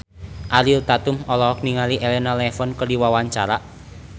Ariel Tatum olohok ningali Elena Levon keur diwawancara